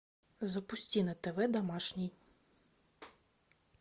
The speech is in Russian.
запусти на тв домашний